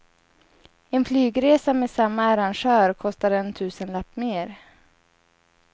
En flygresa med samma arrangör kostar en tusenlapp mer.